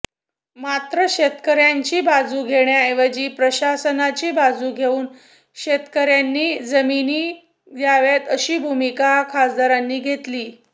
मात्र शेतकऱयांची बाजू घेण्याऐवजी प्रशासनाची बाजू घेवून शेतकऱयांनी जमिनी द्याव्यात अशी भूमिका खासदारांनी घेतली